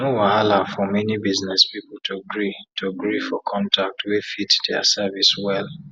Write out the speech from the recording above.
na wahala for many business pipu to gree to gree for contact wey fit dia service wel